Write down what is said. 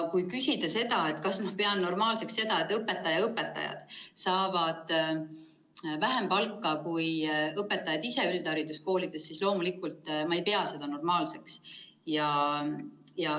Kui küsida, kas ma pean normaalseks, et õpetajate õpetajad saavad vähem palka kui õpetajad ise üldhariduskoolides, siis ma loomulikult ei pea seda normaalseks.